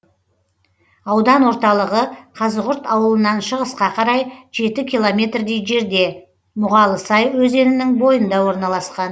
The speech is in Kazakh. аудан орталығы қазығұрт ауылынан шығысқа қарай жеті километрдей жерде мұғалысай өзенінің бойында орналасқан